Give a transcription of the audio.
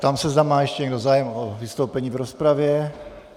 Ptám se, zda má ještě někdo zájem o vystoupení v rozpravě?